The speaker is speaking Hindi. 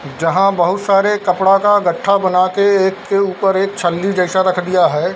जहां बहुत सारे कपड़ा का गट्ठा बना के एक के ऊपर एक छली जैसा रख दिया है।